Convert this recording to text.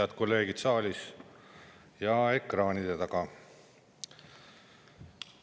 Head kolleegid saalis ja ekraanide taga!